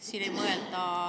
Teie aeg!